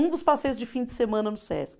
Um dos passeios de fim de semana no Sesc.